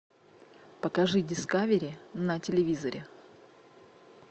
покажи дискавери на телевизоре